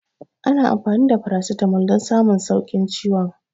Ana amfani da farasitamol don samun sauƙin ciwon